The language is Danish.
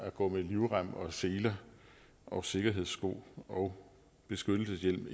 at gå med livrem og seler og sikkerhedssko og beskyttelseshjelm